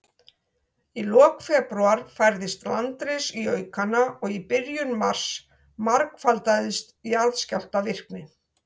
Í lok febrúar færðist landris í aukana, og í byrjun mars margfaldaðist jarðskjálftavirknin.